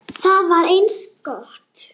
Það var eins gott!